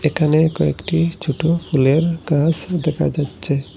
এখানে কয়েকটি ছোট ফুলের গাছ দেখা যাচ্ছে।